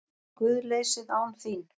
GUÐLEYSIÐ ÁN ÞÍN